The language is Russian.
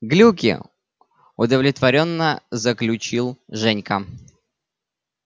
глюки удовлетворённо заключил женька